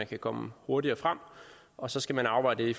kan komme hurtigere frem og så skal man afveje det i